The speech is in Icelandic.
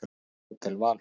Hótel Valhöll